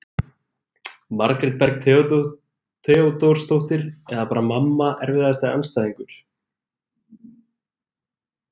Margrét Berg Theodórsdóttir eða bara mamma Erfiðasti andstæðingur?